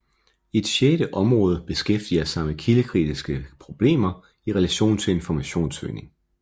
Et sjette område beskæftiger sig med kildekritiske problemer i relation til informationssøgning